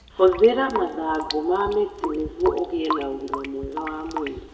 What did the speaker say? Hũthĩra mathangũ ma mint nĩguo ũgĩe na ũgima mwega wa mwĩrĩ.